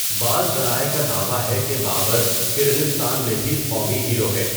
بعض ذرائع کا دعویٰ ہے کہ بابر کرغزستان میں بھی قومی ہیرو ہے۔